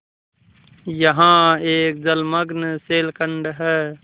यहाँ एक जलमग्न शैलखंड है